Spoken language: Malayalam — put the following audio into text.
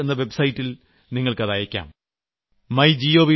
നരേന്ദ്രമോദി ആപ്പ് എന്ന വെബ് സൈറ്റിൽ നിങ്ങൾക്ക് അത് അയക്കാം